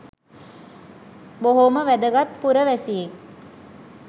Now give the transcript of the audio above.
බොහොම වැදගත් පුරවැසියෙක්